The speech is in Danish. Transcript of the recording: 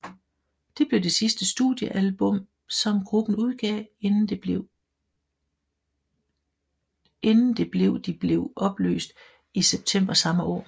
Det blev det sidste studiealbum som gruppen udgav inden det blev de blev opløst i september samme år